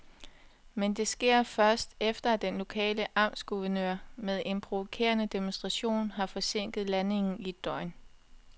Men det sker først, efter at den lokale amtsguvernør med en provokerende demonstration har forsinket landingen i et døgn.